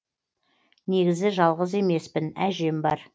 негізі жалғыз емеспін әжем бар